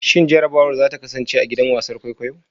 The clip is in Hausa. Shin jarrabawar za ta kasance a gidan wasan kwaikwayo?